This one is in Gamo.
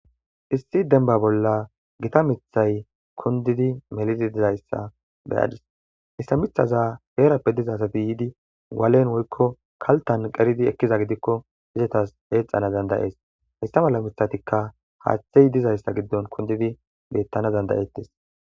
issi demba Bolla Gita Mithay kundidi Mellidi Dizaysa Be'adis Haysa mithaza herape be diza Gade Walle Woyko Kaltan qeridi ekiza gidiko izetas Ecanas danda'es hayta malla mitatika Hathey Dizaysa Gidon Kundidi Betanaw danda'etes